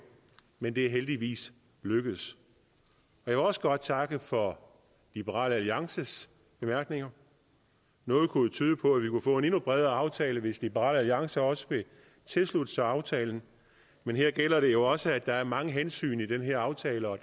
men det er heldigvis lykkedes jeg vil også godt takke for liberal alliances bemærkninger noget kunne tyde på at vi kunne få en endnu bredere aftale hvis liberal alliance også vil tilslutte sig aftalen men her gælder det jo også at der er mange hensyn i den her aftale og